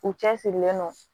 U cɛ sirilen don